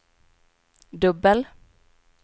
dubbel